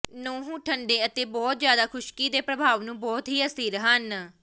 ਨਹੁੰ ਠੰਡੇ ਅਤੇ ਬਹੁਤ ਜ਼ਿਆਦਾ ਖੁਸ਼ਕੀ ਦੇ ਪ੍ਰਭਾਵ ਨੂੰ ਬਹੁਤ ਹੀ ਅਸਥਿਰ ਹਨ